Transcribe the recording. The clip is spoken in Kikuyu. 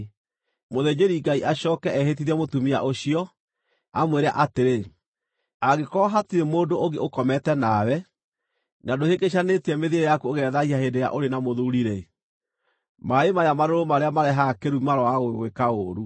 Mũthĩnjĩri-Ngai acooke ehĩtithie mũtumia ũcio, amwĩre atĩrĩ, “Angĩkorwo hatirĩ mũndũ ũngĩ ũkomete nawe, na ndũhĩngĩcanĩtie mĩthiĩre yaku ũgethaahia hĩndĩ ĩrĩa ũrĩ na mũthuuri-rĩ, maaĩ maya marũrũ marĩa marehaga kĩrumi maroaga gũgwĩka ũũru.